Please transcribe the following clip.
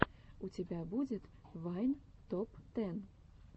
у тебя будет вайн топ тэн